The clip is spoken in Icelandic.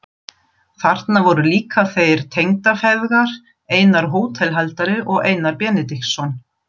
Þarna voru líka þeir tengdafeðgar, Einar hótelhaldari og Einar Benediktsson.